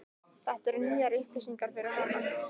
Þetta eru nýjar upplýsingar fyrir hana.